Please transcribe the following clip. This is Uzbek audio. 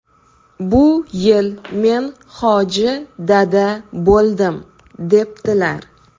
Bu yil men hoji dada bo‘ldim”, debdilar.